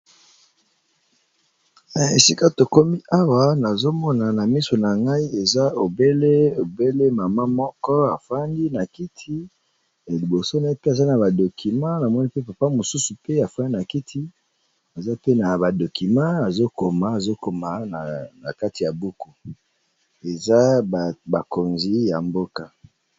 Na esika to komi awa nazo mona na miso na ngai eza obele mama moko a fandi na kiti libos na ye pe aza na babdocuments na moni pe papa mosusu pe a fani na kiti eza pe na ba documents, azobkoma na kati ya buku . Eza bakonzi ya mboka .